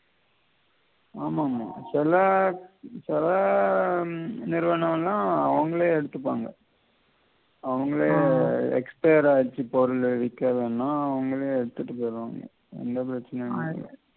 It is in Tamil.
ஆமாமா சில சில உம் நிறுவனம் எல்லாம் அவங்களே எடுத்துப்பாங்க அவங்களே expired ஆயூச்சு பொருளு விக்கவேணாம் அவங்களே எடுத்திட்டு போயிடுவாங்க எந்த பிரச்சினையும் இல்ல